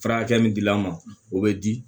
Fara hakɛ min dil'a ma o bɛ di